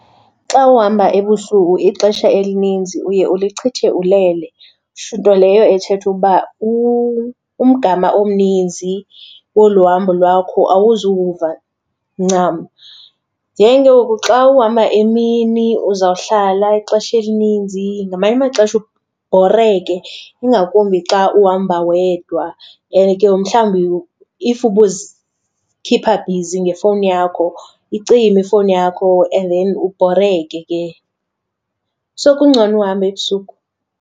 Xa uhamba ebusuku ixesha elininzi uye ulichithe ulele, nto leyo ethetha ukuba umgama omninzi kolu hambo lwakho awuzuwuva ncam. Then ke ngoku xa uhamba emini uzawuhlala ixesha elininzi, ngamanye amaxesha ebhoreke ingakumbi xa uhamba wedwa and ke ngoku mhlawumbi if ubuzikhipha bhizi ngefowuni yakho, icime ifowuni yakho and then ubhoreke ke. So kungcono uhamba ebusuku.